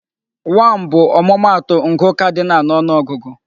1 bụ ọmụmaatụ ngụ cardinal na ọnụ ọgụgụ.